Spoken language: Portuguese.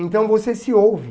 Então você se ouve.